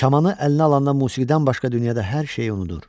Kamanı əlinə alandan musiqidən başqa dünyada hər şeyi unudur.